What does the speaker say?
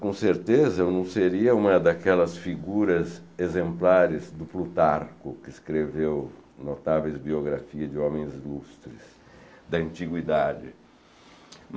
Com certeza, eu não seria uma daquelas figuras exemplares do Plutarco, que escreveu notáveis biografias de homens lustres da antiguidade.